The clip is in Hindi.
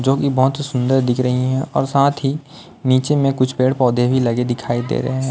जो की बहोत सुंदर दिख रही है और साथ ही नीचे में कुछ पेड़ पौधे भी लगे दिखाई दे रहे हैं।